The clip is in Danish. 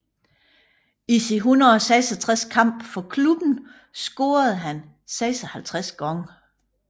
I sine 166 kampe for klubben scorede han 56 gange